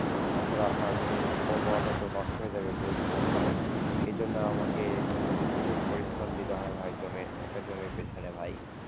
তাছাড়া আপনার জমির উর্বরতা তো নষ্ট হয়ে যাবে বুঝছেন ভাই, এজন্য আমাকে মনে করেন যে প্রচুর পরিশ্রম দিতে হবে ভাই জমির একটা জমির পিছনে ভাই।